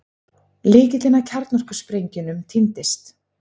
Lykillinn að kjarnorkusprengjunum týndist